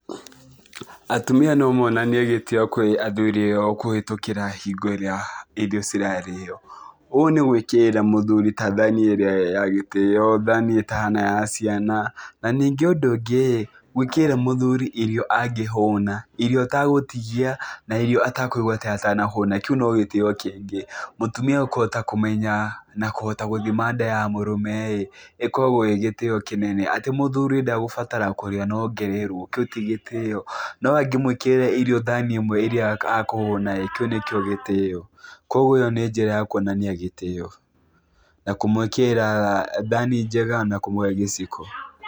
Atumia no monanie gĩtĩo kũrĩ athuri ao kũhĩtũkĩra hingo ĩrĩa irio cirarĩo. Ũũ nĩ gwĩkĩrĩra mũthuri ta thani ĩrĩa ya gĩtĩo, thani ĩtahana ya ciana, na ningĩ ũndũ ũngĩ-ĩ gwĩkĩrĩra mũthuri irio angĩhũna, irio atagũtigia na irio atakũigua ta atanahũna, kĩu no gĩtĩo kĩngĩ. Mũtumia kũhota kũmenya na kũhota gũthima nda ya mũrũme-ĩ, ĩkoragwo ĩ gĩtĩo kĩnene, atĩ mũthuri ndagũbatara kũrĩa na ongererwo, kĩu ti gĩtĩo, no angĩmwĩkĩrĩra irio thani ĩmwe ĩrĩa akũhũna-ĩ, kĩu nĩkĩo gĩtĩo, kuoguo ĩyo njĩra ya kuonania gĩtĩo, na kũmwĩkĩrĩra thani njega na kũmũhe gĩciko.